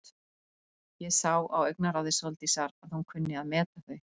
Ég sá á augnaráði Sóldísar að hún kunni að meta þau.